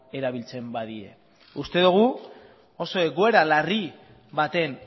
erabiltzen badie uste dugu oso egoera larri baten